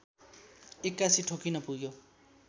एक्कासि ठोकिन पुग्यो